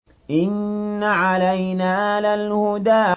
إِنَّ عَلَيْنَا لَلْهُدَىٰ